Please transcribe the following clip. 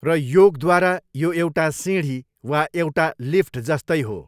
र योगद्वारा यो एउटा सिँढी वा एउटा लिफ्टजस्तै हो।